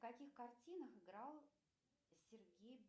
в каких картинах играл сергей